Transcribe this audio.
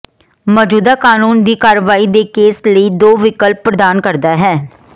ਮੌਜੂਦਾ ਕਾਨੂੰਨ ਦੀ ਕਾਰਵਾਈ ਦੇ ਕੇਸ ਲਈ ਦੋ ਵਿਕਲਪ ਪ੍ਰਦਾਨ ਕਰਦਾ ਹੈ